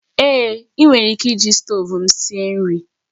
Èé, ị nwere ike iji stovu m sie nri